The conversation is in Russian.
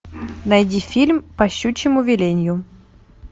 найди фильм по щучьему велению